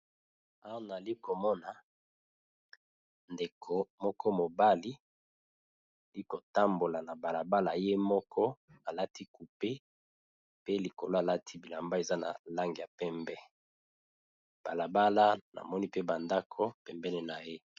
Awa nali komona ndeko moko mobali li kotambola na bala bala ye moko alati cupe pe likolo alati bilamba eza na langi ya pembe, bala bala namoni pe ba ndako pembeni na ye.